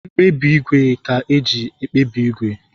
Mkpabi ígwè ka eji akpabi ígwè